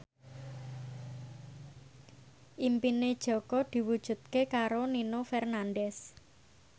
impine Jaka diwujudke karo Nino Fernandez